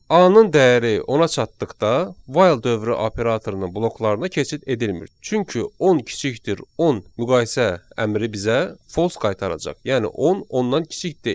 A-nın dəyəri 10-a çatdıqda, while dövrü operatorunun bloklarına keçid edilmir, çünki 10 < 10 müqayisə əmri bizə false qaytaracaq, yəni 10 10-dan kiçik deyil.